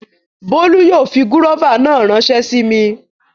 Bólú yóò fi gúróvà náà ránsẹ́ sí mi